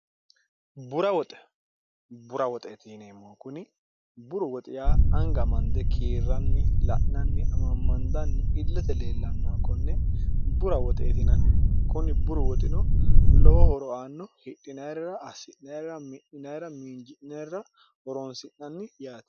bura xbura woxeetiineemmo kuni buru woxiya anga mande kiirranni la'nanni amammandanni illate leellannoha konne bura woxeetinanni kuni buru woxino lowo horoaanno hidhinayirra assi'naira mi'ninaira miinji'neerra horoonsi'nanni yaati